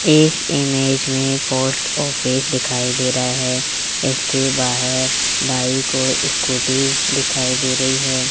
इस इमेज में post office दिखाई दे रहा है इसके बाहर बाइक को स्कूटी दिखाई दे रही है।